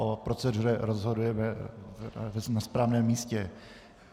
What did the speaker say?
O proceduře rozhodneme na správném místě.